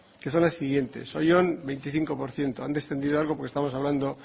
que son las siguientes oyón veinticinco por ciento han descendido algo porque estamos hablando